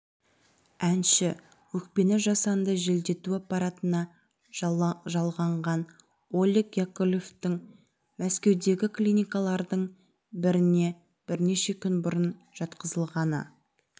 әнші өкпені жасанды желдету аппаратына жалғанған олег яковлевтің мәскеудегі клиникалардың біріне бірнеше күн бұрын жатқызылғаны